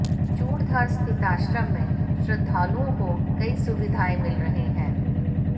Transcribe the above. चूड़धार स्थित आश्रम में भी श्रद्धालुआें को कई सुविधाएं मिल रही हैं